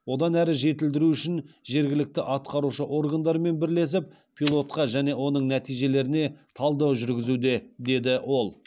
одан әрі жетілдіру үшін жергілікті атқарушы органдармен бірлесіп пилотқа және оның нәтижелеріне талдау жүргізуде деді ол